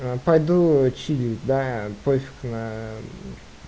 пойду чилить да пофиг на